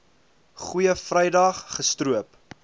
goeie vrydag gestroop